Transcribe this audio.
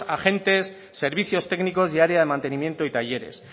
agentes servicios técnicos y área de mantenimiento y talleres